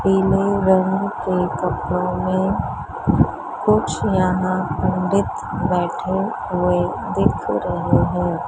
पीले रंग के कपड़ों में कुछ यहां पंडित बैठे हुए दिख रहे हैं।